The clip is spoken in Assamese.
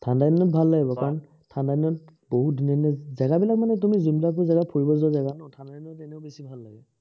ঠাণ্ডা দিনত ভাল লাগিব, কাৰণ ঠাণ্ডা দিনত বহুত ধুনীয়া ধুনীয়া জেগাবিলাক মানে তুমি যোনবিলাক জেগাত ফুৰিব যাবা, ঠাণ্ডাদিনত এনেও বেছি ভাল লাগে।